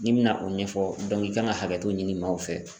N'i bɛna o ɲɛfɔ i kan ka hakɛto ɲini maaw fɛ.